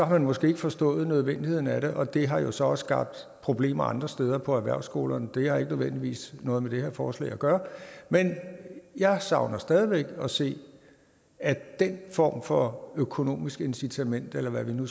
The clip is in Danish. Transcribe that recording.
man måske ikke forstået nødvendigheden af det og det har jo så også skabt problemer andre steder på erhvervsskolerne men det har ikke nødvendigvis noget med det her forslag at gøre men jeg savner stadig væk at se at den form for økonomisk incitament eller hvad vi nu